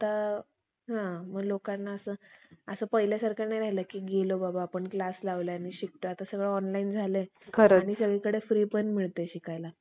असं पहिल्यासारखं नाही राहिलं कि गेलं बाबा आपण क्लास लावलाय आणि शिकतोय आता सगळं ऑनलाईन झालंय आणि सगळीकडे फ्री पण मिळतंय शिकायला